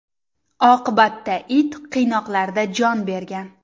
Oqibatda it qiynoqlarda jon bergan.